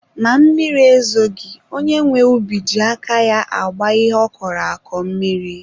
Ma mmiri ezoghi, onye nwe ubi na-eji aka ya agba ihe ọ kọrọ akọ mmiri.